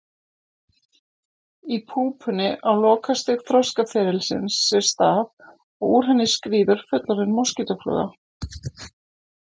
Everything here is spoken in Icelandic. Í púpunni á lokastig þroskaferilsins sér stað og úr henni skríður fullorðin moskítófluga.